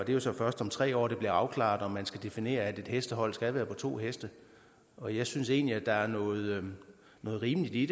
det er så først om tre år det bliver afklaret om man skal definere at et hestehold skal være på to heste og jeg synes egentlig der er noget rimeligt i